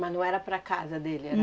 Mas não era para a casa dele? Era